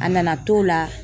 A nana t'o la